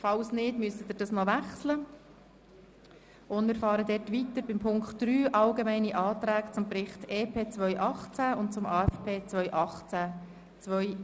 Wir fahren fort mit Punkt 3, Allgemeine Anträge zum Bericht EP 2018 und zum AFP 2019–2021.